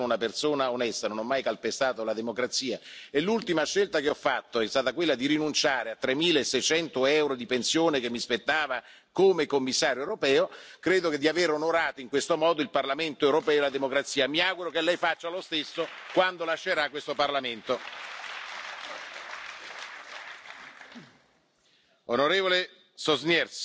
heute auch an die Seite unserer Kreativen stellen könnte. Eine erneute Zurückweisung wäre ein herber Schlag für die europäische Kreativindustrie. Nach der Sommerpause habe ich Ihnen neue Angebote gemacht. Es mag nicht alles für alle hundertprozentig sein, doch wir werden auch nicht kopflos weitermachen. Die Probleme sind bekannt, und wir können